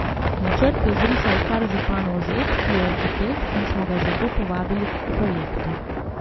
Načrt je zrisal kar županov zet, ki je arhitekt in smo ga zato povabili k projektu.